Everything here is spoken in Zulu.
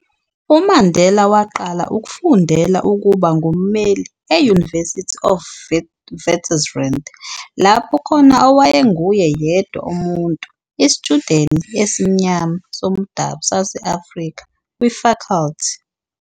UMandela waqala ukufundela ukuba ngummeli e-University of Witwatersrand, lapho khona owaye nguye yedwa umuntu isitshudeni esemnyama somdabu sase-Afrika kwi-faculty.